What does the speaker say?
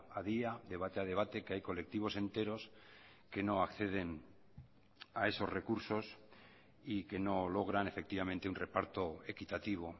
a día debate a debate que hay colectivos enteros que no acceden a esos recursos y que no logran efectivamente un reparto equitativo